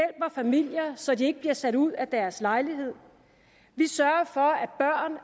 familier så de ikke bliver sat ud af deres lejlighed vi sørger for